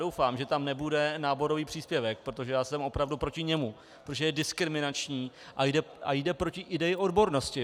Doufám, že tam nebude náborový příspěvek, protože já jsem opravdu proti němu, protože je diskriminační a jde proti ideji odbornosti.